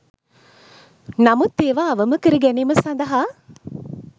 නමුත් ඒවා අවම කර ගැනීම සඳහා